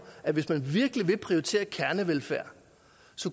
at hvis man virkelig ville prioritere kernevelfærd